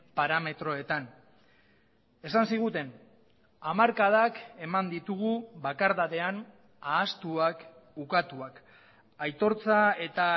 parametroetan esan ziguten hamarkadak eman ditugu bakardadean ahaztuak ukatuak aitortza eta